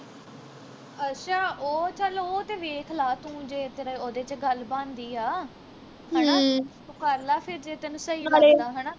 ਅੱਛਾ ਉਹ ਚੱਲ ਉਹ ਤੇ ਵੇਖ ਲਾ ਤੂੰ ਜੇ ਤੇਰੇ ਉਹਦੇ ਵਿਚ ਗੱਲ ਬਣਦੀ ਆ ਹਣਾ ਤੂੰ ਕਰ ਲਾ ਫਿਰ ਜੇ ਤੈਨੂੰ ਸਹੀ ਲੱਗਦਾ ਹਣਾ